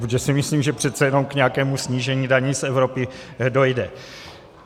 Protože si myslím, že přece jenom k nějakému snížení daní z Evropy dojde.